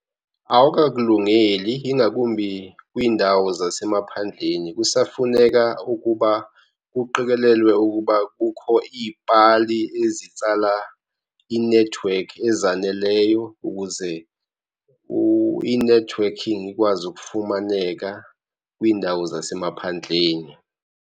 Awukakulungeli ingakumbi kwindawo zasemaphandleni. Kusafuneka ukuba kuqikelelwe ukuba kukho iipali ezitsala inethiwekhi ezaneleyo ukuze inethiwekhi ikwazi ukufumaneka kwindawo zasemaphandleni.